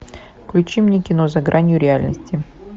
включи мне кино за гранью реальности